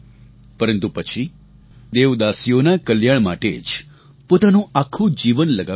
પરંતુ પછી દેવદાસીઓના કલ્યાણ માટે જ પોતાનું આખું જીવન લગાવી દીધું